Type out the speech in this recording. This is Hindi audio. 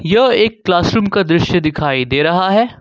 यह एक क्लास रूम का दृश्य दिखाई दे रहा है।